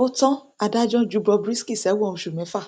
ó tan adájọ ju bob risky sẹwọn oṣù mẹfà